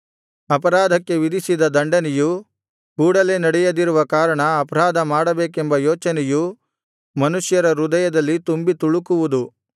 ಅಪರಾಧಕ್ಕೆ ವಿಧಿಸಿದ ದಂಡನೆಯು ಕೂಡಲೇ ನಡೆಯದಿರುವ ಕಾರಣ ಅಪರಾಧ ಮಾಡಬೇಕೆಂಬ ಯೋಚನೆಯು ಮನುಷ್ಯರ ಹೃದಯದಲ್ಲಿ ತುಂಬಿ ತುಳುಕುವುದು